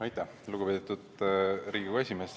Aitäh, lugupeetud Riigikogu esimees!